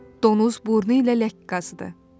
Donuz burnu ilə ləkə qazdı.